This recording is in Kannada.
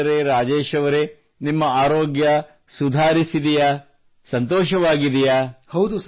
ಹಾಗಾದರೆ ರಾಜೇಶ್ ಅವರೆ ನಿಮ್ಮ ಆರೋಗ್ಯ ಸುಧಾರಿಸಿದೆಯೇ ಸಂತೋಷವಾಗಿದೆಯೇ